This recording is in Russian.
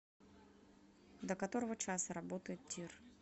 до которого часа работает тир